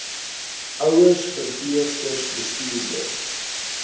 ouers verpleegsters bestuurders